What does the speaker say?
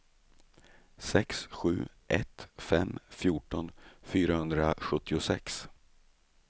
sex sju ett fem fjorton fyrahundrasjuttiosex